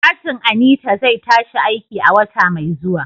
Katin Anita zai tashi aiki a wata mai zuwa.